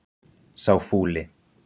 Sá fúli